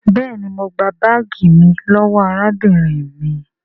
béèni mọ gbà baagi mí lówó arábìnrin mí.